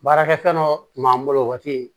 Baarakɛ fɛn dɔ tun b'an bolo waati